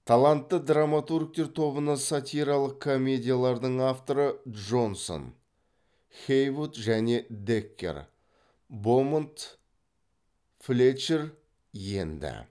талантты драматургтер тобына сатиралық комедиялардың авторы джонсон хейвуд және деккер бомонт флетчер енді